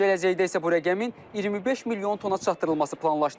Gələcəkdə isə bu rəqəmin 25 milyon tona çatdırılması planlaşdırılır.